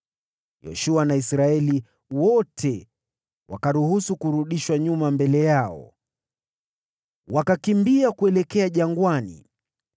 Yoshua na Israeli wote wakaruhusu kurudishwa nyuma mbele yao, na kuelekea jangwani.